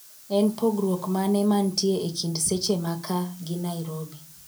En pogruok mane mantie ekind seche maka gi narobi